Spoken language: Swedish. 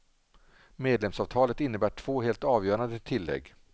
Medlemsavtalet innebär två helt avgörande tillägg.